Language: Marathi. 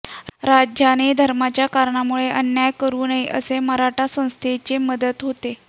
राजाने धर्माच्या कारणामुळे अन्याय करू नये असे मराठा राज्यसंस्थेचे मत होते